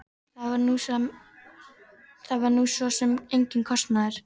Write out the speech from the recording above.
Það var nú svo sem enginn kostnaður.